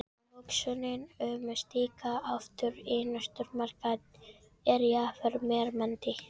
Tilhugsunin um að stíga aftur inn í stórmarkað er yfirþyrmandi.